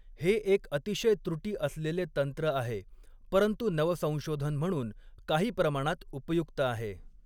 हे एक अतिशय त्रुटी असलेले तंत्र आहे, परंतु नवसंशोधन म्हणून काही प्रमाणात उपयुक्त आहे.